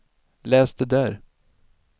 läs det där